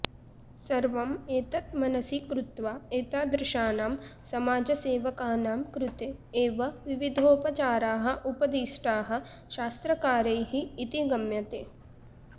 सर्वम् एतत् मनसि कृत्वा एतादृशानां समाजसेवकानां कृते एव विविधोपचाराः उपदिष्टाः शास्त्रकारैः इति गम्यते